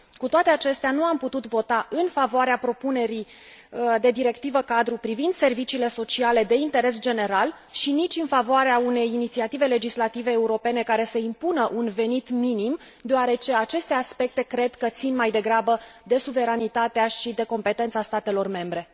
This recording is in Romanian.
Cu toate acestea, nu am putut vota în favoarea propunerii de Directivă cadru privind serviciile cadru de interes general și nici în favoarea unei inițiative legislative europene care să impună un venit minim, deoarece aceste aspecte cred că țin, mai degrabă, de suveranitatea și de competența statelor membre.